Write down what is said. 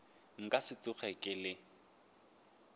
nka se tsoge ke le